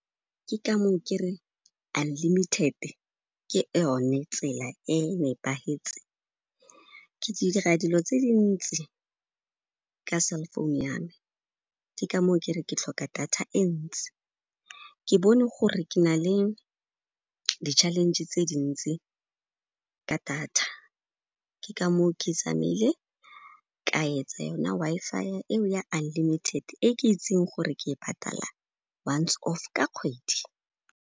Ke ka moo kereng unlimited-e ke yone tsela e nepagetseng. Ke dira dilo tse dintsi ka cell-phone ya me, ke kamoo kere ke tlhoka data e ntsi. Ke bone gore ke na le di challenge tse dintsi ka data, ke ka moo ke tsamaile, ka etsa yona Wi-Fi eo ya unlimited e ke itseng gore ke e patala once off ka kgwedi.